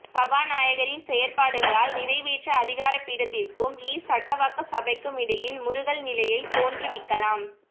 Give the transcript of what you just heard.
சபாநாயகரின் செயற்பாடுகளால் நிறைவேற்று அதிகாரப்பீடத்திற்கும்இ சட்டவாக்க சபைக்கும் இடையில் முறுகல் நிலையை தோன்றுவிக்கலாம்